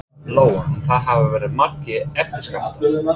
Lóa: En það hafa verið margir eftirskjálftar?